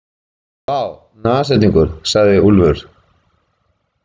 Vá, nashyrningur, sagði Úlfur.